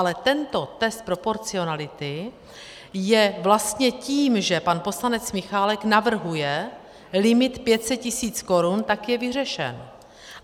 Ale tento test proporcionality je vlastně tím, že pan poslanec Michálek navrhuje limit 500 tisíc korun, tak je vyřešen.